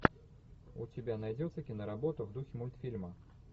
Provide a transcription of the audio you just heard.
у тебя найдется киноработа в духе мультфильма